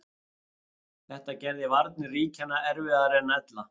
Þetta gerði varnir ríkjanna erfiðari en ella.